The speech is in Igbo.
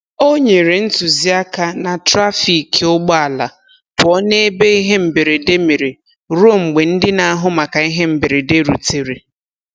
O nyere ntụziaka na trafiki ụgbọala pụọ n'ebe ihe mberede mere ruo mgbe ndị n'ahụ maka ihe mberede rutere.